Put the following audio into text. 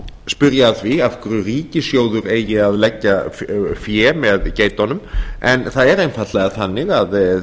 spyrja að því af hverju ríkissjóður eigi að leggja fé með geitunum en það er einfaldlega þannig að